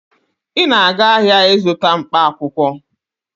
Ị na-aga ahịa ịzụta mkpaakwụkwọ.